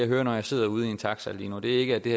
hører når man sidder ude i en taxa lige nu det er ikke at det